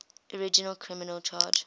original criminal charge